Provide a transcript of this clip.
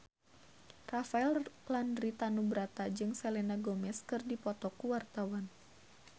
Rafael Landry Tanubrata jeung Selena Gomez keur dipoto ku wartawan